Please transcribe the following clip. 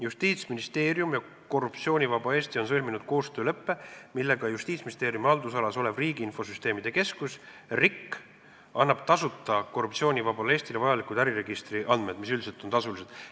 Justiitsministeerium ja Korruptsioonivaba Eesti on sõlminud koostööleppe, millega Justiitsministeeriumi haldusalas olev Registrite ja Infosüsteemide Keskus annab Korruptsioonivabale Eestile tasuta vajalikud äriregistri andmed, mis üldiselt on tasulised.